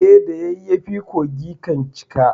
E, da yayyafi kogi kan cika.